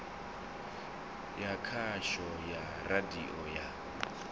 ya khasho ya radio ya